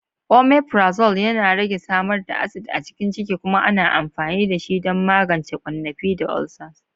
Omeprazole yana rage samar da acid a cikin ciki kuma ana amfani dashi don magance ƙwannafi da ulcers.